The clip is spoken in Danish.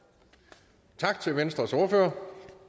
på